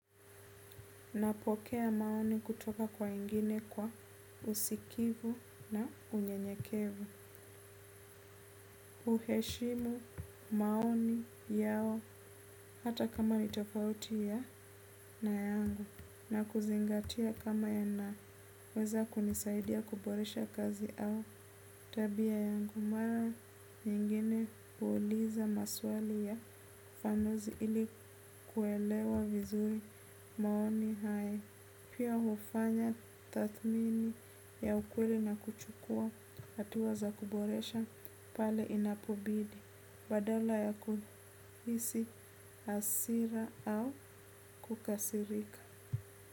Napokea maoni kutoka kwa wengine kwa usikivu na unyenyekevu. Uheshimu maoni yao hata kama ni tofauti ya na yangu na kuzingatia kama yanaweza kunisaidia kuboresha kazi au tabia yangu. Mara nyingine huuliza maswali ya ufanuzi ili kuelewa vizuri maoni hayo. Pia hufanya tathimini ya ukweli na kuchukua hatua za kuboresha pale inapobidi. Badala ya kuhisi hasira au kukasirika.